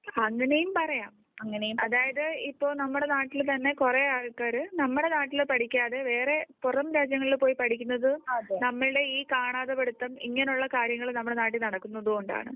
അങ്ങനെയും പറയാം അതായിതു ഇപ്പോൾ നമ്മുടെ നാട്ടില് തന്നെ കുറെ ആൾക്കാർ നമ്മുടെ നാട്ടിൽ പഠിക്കാതെ വേറെ പുറം രാജ്യങ്ങളില് പോയ് .പഠിക്കുന്നത്നമ്മുടെ ഈ കാണാതെ പഠിത്തം ഇങ്ങനെയുള്ള കാര്യങ്ങൾ നമ്മുടെ നാട്ടിൽനടക്കുന്നത് കൊണ്ടാണ്